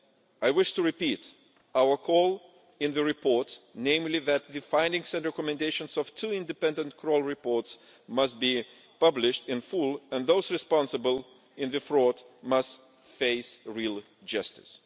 I wish to repeat our call in the report, namely that the findings and recommendations of the two independent Kroll reports must be published in full, and those responsible for the fraud must face real justice.